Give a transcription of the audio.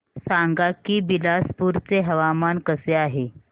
सांगा की बिलासपुर चे हवामान कसे आहे